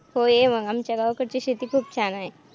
हो. ये मग आमच्या गावाकडची शेती खूप छान आहे.